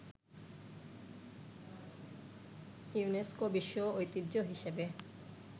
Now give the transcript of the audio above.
UNESCO বিশ্ব ঐতিহ্য হিসেবে